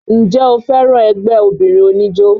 Ǹjẹ́ o fẹ́ràn ẹgbẹ́ obìnrin oníjó?